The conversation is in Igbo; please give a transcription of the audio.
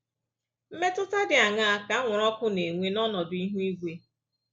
Mmetụta dị aṅaa ka anwụrụ ọkụ na-enwe n’ọnọdụ ihu igwe?